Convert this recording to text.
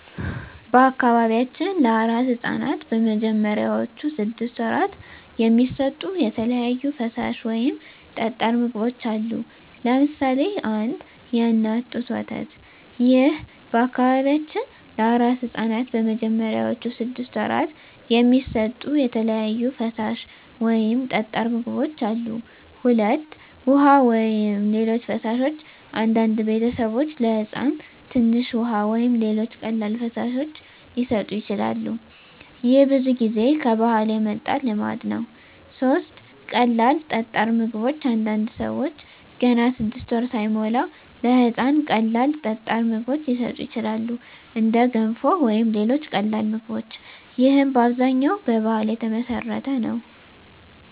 በአካባቢያችን ለአራስ ሕፃናት በመጀመሪያዎቹ ስድስት ወራት የሚሰጡ የተለያዩ ፈሳሽ ወይም ጠጣር ምግቦች አሉ። ለምሳሌ 1. የእናት ጡት ወተት ይህ ለበአካባቢያችን ለአራስ ሕፃናት በመጀመሪያዎቹ ስድስት ወራት የሚሰጡ የተለያዩ ፈሳሽ ወይም ጠጣር ምግቦች አሉ። 2. ውሃ ወይም ሌሎች ፈሳሾች አንዳንድ ቤተሰቦች ለሕፃን ትንሽ ውሃ ወይም ሌሎች ቀላል ፈሳሾች ሊሰጡ ይችላሉ። ይህ ብዙ ጊዜ ከባህል የመጣ ልማድ ነው። 3. ቀላል ጠጣር ምግቦች አንዳንድ ሰዎች ገና 6 ወር ሳይሞላ ለሕፃን ቀላል ጠጣር ምግቦች ሊሰጡ ይችላሉ፣ እንደ ገንፎ ወይም ሌሎች ቀላል ምግቦች። ይህም በአብዛኛው በባህል የተመሠረተ ነው።